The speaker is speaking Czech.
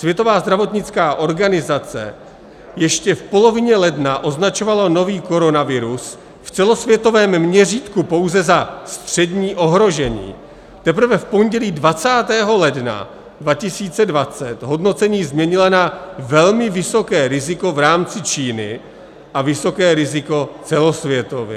Světová zdravotnická organizace ještě v polovině ledna označovala nový koronavirus v celosvětovém měřítku pouze za střední ohrožení, teprve v pondělí 20. ledna 2020 hodnocení změnila na velmi vysoké riziko v rámci Číny a vysoké riziko celosvětově.